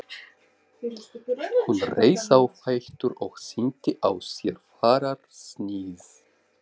Hún reis á fætur og sýndi á sér fararsnið.